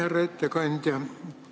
Härra ettekandja!